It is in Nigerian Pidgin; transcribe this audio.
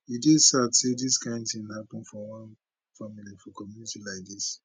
e dey sad say dis kain tin happun for one family for community like dis